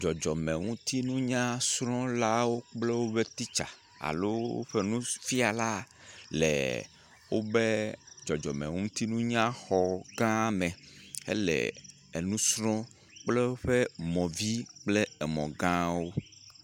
Dzɔdzɔmenutinunyalasrɔlawo kple woƒe teacher alo woƒe nufiala le woƒe dzɔdzɔmenutinunya xɔ gã me le enu srɔm kple woƒe mɔvi kple emɔ gãwo.